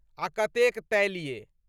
आ कतेक तैलीय।